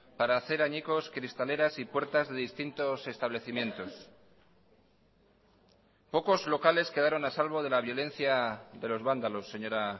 para hacer añicos cristaleras y puertas de distintos establecimientos pocos locales quedaron a salvo de la violencia de los vándalos señora